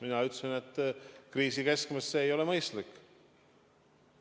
Mina ütlesin, et kriisi keskmes ei ole see mõistlik.